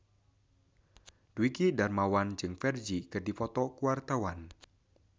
Dwiki Darmawan jeung Ferdge keur dipoto ku wartawan